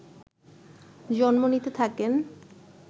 জন্ম নিতে থাকেন